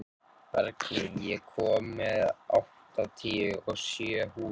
Bergný, ég kom með áttatíu og sjö húfur!